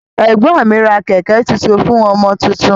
Ẹgbọn mi ra kẹkẹ tuntun fún ọmọ tuntun.